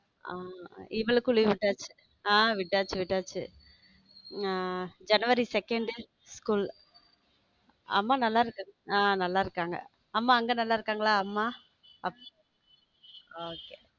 ஆமா இவளுக்கும் leave விட்டாச்ச ஹம் விட்டாச்சு விட்டாச்சு ஜனவரி second school அம்மா நல்லா இருக்காங்க ஹம் நல்ல இருகாங்க அம்மா அங்க நல்லா இருக்காங்களா? அம்மா? okay.